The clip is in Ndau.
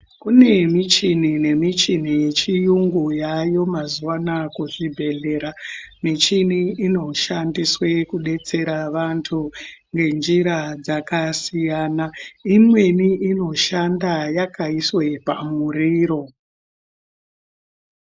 Kune michini nemichini yechiyungu yaayo mazuva anaya kuzvibhedhlera. Michini inoshandiswe kudetsera vantu ngenjira dzakasiyana-siyana. Imweni inoshanda yakaiswe pamuriro.